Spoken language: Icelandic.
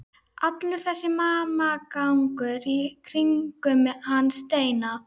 Allur þessi hamagangur í kringum hann Steina!